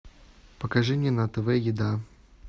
покажи мне на тв еда